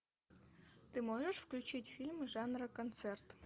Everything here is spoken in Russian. ты можешь включить фильм жанра концерт